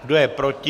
Kdo je proti?